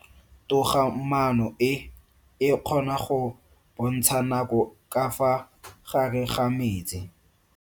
Toga-maano e, e kgona go bontsha nako ka fa gare ga metsi.